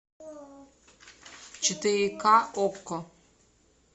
четыре ка окко